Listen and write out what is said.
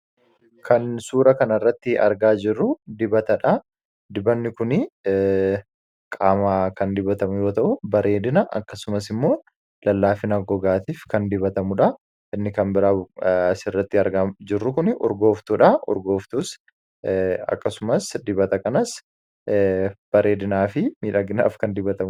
kan suura kan irratti argaa jirru dibatadha. Dibanni kun qaama kan dibatamu yoo ta'u bareedina akkasumas immoo lallaafina gogaatiif kan fayyadudha.